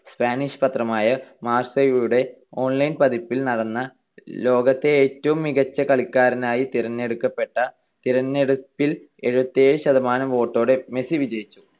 Spanish പത്രമായ മാർസയുടെ online പതിപ്പിൽ നടന്ന ലോകത്തെ ഏറ്റവും മികച്ച കളിക്കാരനായി തിരഞ്ഞെടുക്കപ്പെട്ട ~ തിരഞ്ഞെടുപ്പിൽ എഴുപത്തിയേഴ് ശതമാനം വോട്ടോടെ മെസ്സി വിജയിച്ചു.